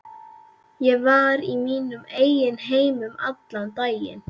Ég var í mínum eigin heimi allan daginn.